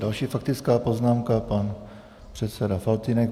Další faktická poznámka, pan předseda Faltýnek.